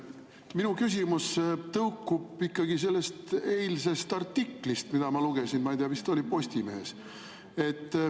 Minu küsimus tõukub ikkagi sellest eilsest artiklist, mida ma lugesin, ma ei tea, vist oli Postimehes.